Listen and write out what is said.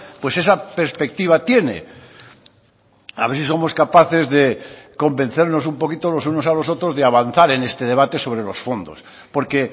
pues esa perspectiva tiene a ver si somos capaces de convencernos un poquito los unos a los otros de avanzar en este debate sobre los fondos porque